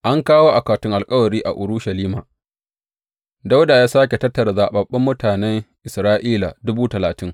An kawo akwatin alkawari a Urushalima Dawuda ya sāke tattara zaɓaɓɓun mutanen Isra’ila, dubu talatin.